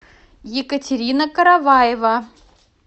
екатерина караваева